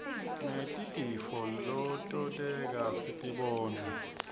ngetirtifo letonteka sitibona